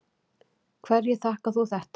Hverju þakkar þú þetta?